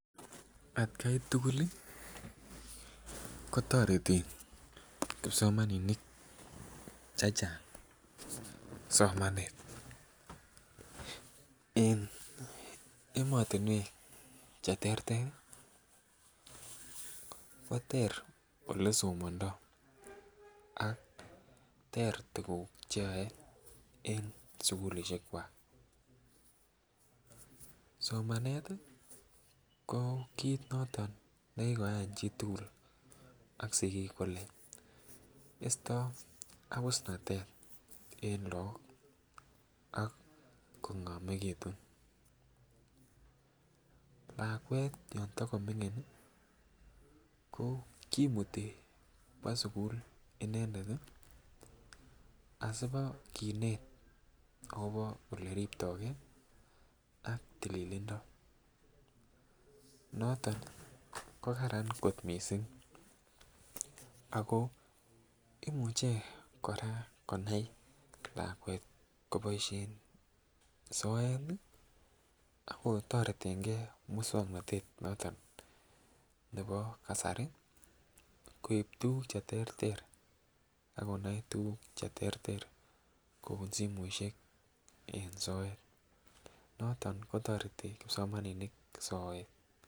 Atgai tukul lii kotoreti kipsomaninik chechang somanet en emotunwek cheterter Koter ole somondo ak ter tukuk cheyoe en sukulishek kwak. Somanet ko kit noton nekikoyai chitukul ak sikik kole isto abusnatet en lok ak kongomekitun. Lakwet yon do komingin kimuti kwo sukul inendet asipokinet akobo olekiriptogee ak tililindo noton ko Karan kot missing sko imuche konai Koraa lakwet koboishen soet ak kotoretengee muswoknotet noton nebo kasari koib tukuk cheterter ak konai tukuk cheterter kou simoishek en soet noton kotoreti kipsomaninik soet.